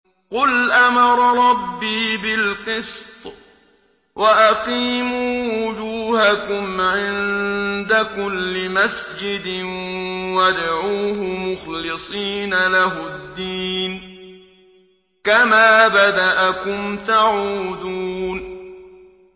قُلْ أَمَرَ رَبِّي بِالْقِسْطِ ۖ وَأَقِيمُوا وُجُوهَكُمْ عِندَ كُلِّ مَسْجِدٍ وَادْعُوهُ مُخْلِصِينَ لَهُ الدِّينَ ۚ كَمَا بَدَأَكُمْ تَعُودُونَ